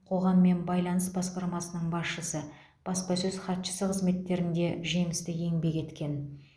қоғаммен байланыс басқармасының басшысы баспасөз хатшысы қызметтерінде жемісті еңбек еткен